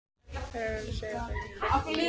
Það þarf ekki að segja þeim að fá sér meira.